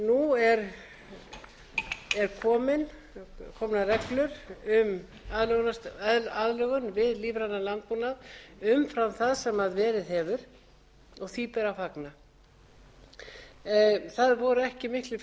komnar reglur um aðlögun við lífrænan landbúnað umfram það sem verið hefur og því ber að fagna það voru ekki miklir fjármunir sem